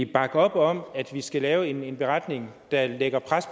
bakke op om at vi skal lave en beretning der lægger pres